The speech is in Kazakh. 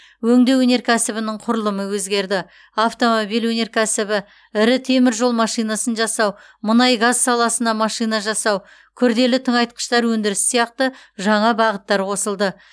өңдеу өнеркәсібінің құрылымы өзгерді автомобиль өнеркәсібі ірі темір жол машинасын жасау мұнай газ саласына машина жасау күрделі тыңайтқыштар өндірісі сияқты жаңа бағыттар қосылды